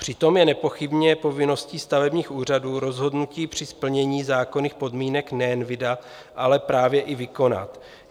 Přitom je nepochybně povinností stavebních úřadů rozhodnutí při splnění zákonných podmínek nejen vydat, ale právě i vykonat.